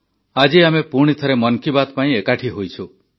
ଆଜି ଆମେ ପୁଣି ଥରେ ମନ୍ କି ବାତ୍ ପାଇଁ ଏକାଠି ହୋଇଛୁ